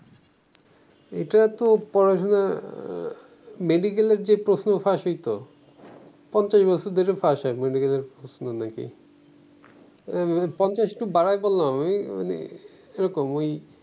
এটা তো পড়াশুনা আহ medical এর যে প্রশ্ন ফাঁস হইতো পঞ্চাশ বছর ধরে ফাঁস হয় medical এর প্রশ্ন নাকি পঞ্চাশ একটু বাড়ায় বললাম আমি মানে এরকম ওই